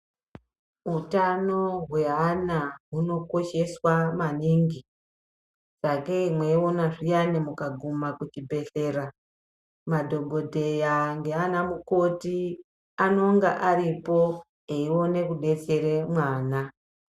Utano hweana hunokosheswa maningi sakei mweiona zviyani mukaguma kuchibhedhlera madhokodheya nanamukoti anonge aripo eione kudetsere mwana.